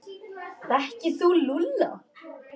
Þekkir þú Lúlla?